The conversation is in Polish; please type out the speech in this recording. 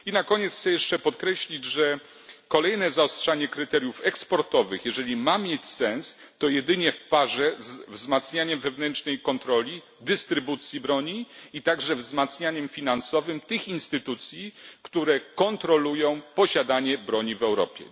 Na koniec chcę jeszcze podkreślić, że kolejne zaostrzanie kryteriów eksportowych, jeżeli ma mieć sens, to jedynie w parze ze wzmacnianiem wewnętrznej kontroli, dystrybucji broni, a także wzmacnianiem finansowym tych instytucji, które kontrolują posiadanie broni w Europie.